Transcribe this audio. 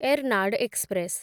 Ernad express